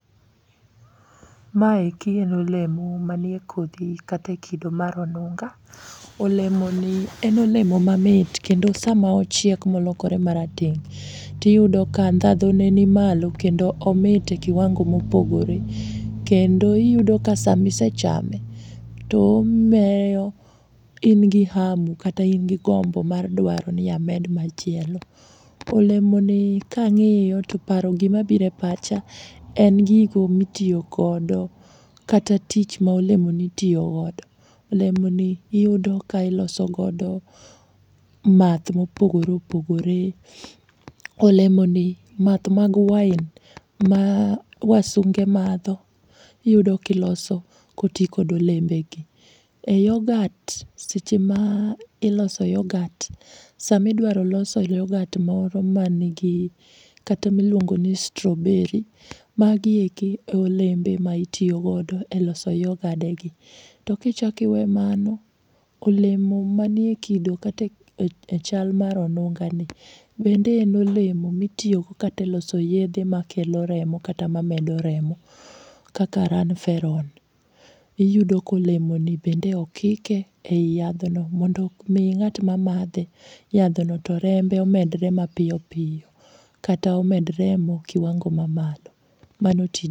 Maeki en olemo manie kodhi kata e kido mar onunga. Olemoni en olemo mamit kendo sama ochiek molokore marateng' tiyudo ka ndhadhune ni malo kendo omit e kiwango mopogore. Kendo iyudo ka samisechame to in gi hamu kata ingi gombo ni amed machielo. Olemoni kang'iyo to gimabiro e pacha en gigo mitiyogodo kata tich ma olemoni itiyogodo. Olemoni iyudo ka ilosogodo math ma opogore opogore, olemoni math mag wine ma wasunge madho iyudo kiloso koti kod olembegegi. E yogat seche ma iloso yogat samidwaro loso yogat moro manigi kata miluongo ni strawberry magieki e olembe maitiyogodo e loso yogadegi. Tokichako iwe mano, olemo manie kido kata e chal mar onungani bende en olemo mitiyogo kata e loso yedhe makelo remo kata mamedo remo kaka ranferon iyudo ka olemoni bende okike e i yadhno mondo mi ng'atmamadhe yadhno to rembe omedre mapiyopiyo kata omed remo kiwango mamalo mano tij......